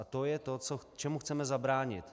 A to je to, čemu chceme zabránit.